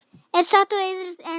er sátt og iðrast einskis